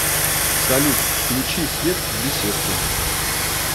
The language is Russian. салют включи свет в беседке